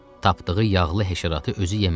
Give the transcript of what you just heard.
Tapdığı yağlı həşəratı özü yemədi.